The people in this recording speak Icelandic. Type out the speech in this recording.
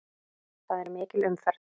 Það er mikil umferð.